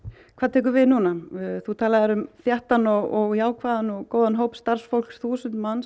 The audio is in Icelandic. hvað tekur við núna þú talaðir um þéttan og jákvæðan og góðan hóp starfsfólks þúsund manns